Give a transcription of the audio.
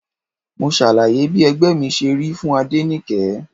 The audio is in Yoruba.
Mo ṣàlàyé bí ẹgbẹ́ mi ṣe rí fún Adenike.